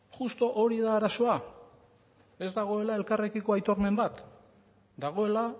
juxtu hori da arazoa ez dagoela elkarrekiko aitormen bat dagoela